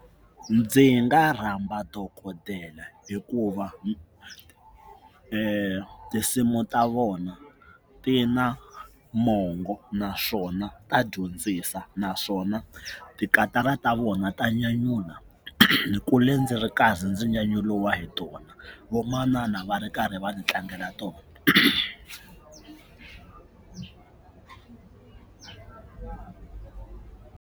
Ndzi nga rhamba dokodela hikuva tinsimu ta vona ti na mongo naswona ta dyondzisa naswona tikatara ta vona ta nyanyula ni kule ndzi ri karhi ndzi nyanyuriwa hi tona vamanana va ri karhi va ni tlangela tona.